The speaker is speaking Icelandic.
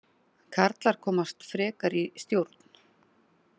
Karlar komast frekar í stjórn